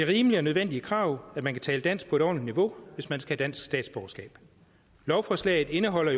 rimeligt og nødvendigt krav at man kan tale dansk på et ordentligt niveau hvis man skal have dansk statsborgerskab lovforslaget indeholder